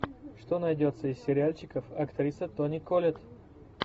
что найдется из сериальчиков актриса тони коллетт